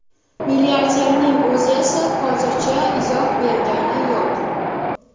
Milliarderning o‘zi esa hozircha izoh bergani yo‘q.